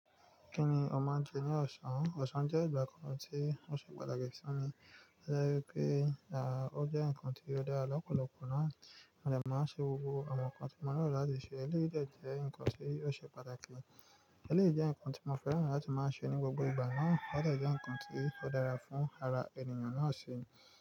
Kí ni o máa ń jẹ ní ọ̀sán? Ọ̀sán jẹ́ ìgbà kan tí ó ṣe pàtàkì sí mi. Ó jẹ́ pé, à, ó jẹ́ ǹkan tí ó dára lọ́pọ̀lọpọ̀ náà. Mo dè máa n ṣe gbogbo àwọn ǹkan tí mo nílò láti ṣe. Eléyìí de jẹ́ ǹkan tí ó ṣe pàtàkì. Eléyìí jẹ́ ǹkan tí mo fẹ́ràn láti máa ṣe ní gbogbo ìgbà náà. Ó de jẹ́ ǹkan tí ó dára fún ara ènìyàn náà sì.